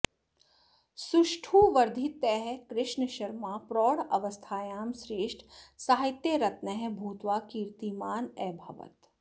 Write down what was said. सुष्ठुवर्धितः कृष्णशर्मा प्रौढावस्थायां श्रेष्ठ साहित्यरत्नः भूत्वा कीर्तिमान् अभवत्